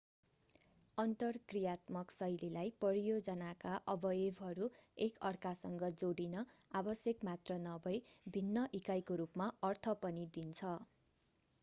अन्तरक्रियात्मक शैलीलाई परियोजनाका अवयवहरू एकअर्कासँग जोडिन आवश्यक मात्र नभई भिन्न इकाइको रूपमा अर्थ पनि दिन्छ